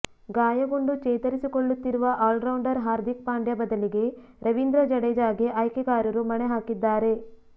ಗಾಯಗೊಂಡು ಚೇತರಿಸಿಕೊಳ್ಳುತ್ತಿರುವ ಆಲ್ರೌಂಡರ್ ಹಾರ್ದಿಕ್ ಪಾಂಡ್ಯ ಬದಲಿಗೆ ರವೀಂದ್ರ ಜಡೇಜಾಗೆ ಆಯ್ಕೆಗಾರರು ಮಣೆ ಹಾಕಿದ್ದಾರೆ